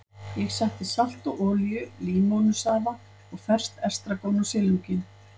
Ég setti salt og olíu, límónusafa og ferskt estragon á silunginn.